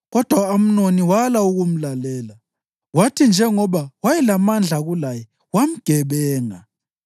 Kodwa u-Amnoni wala ukumlalela, kwathi njengoba wayelamandla kulaye, wamgebenga.